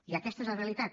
i aquesta és la realitat